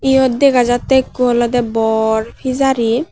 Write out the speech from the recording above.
iyot dega jattey ekku olodey bor pejari.